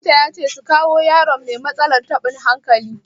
Likita ya ce su kawo yaron mai matsalar taɓin hankali.